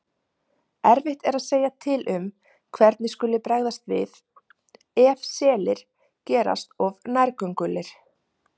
Erfitt er að segja til um hvernig skuli bregðast við ef selir gerast of nærgöngulir.